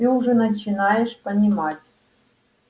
ты уже начинаешь понимать